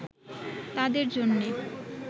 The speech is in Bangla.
তাদের জন্যে